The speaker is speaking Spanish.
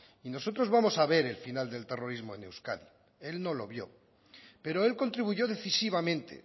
y nosotros vamos a ver el final del terrorismo en euskadi él no lo vio pero él contribuyó decisivamente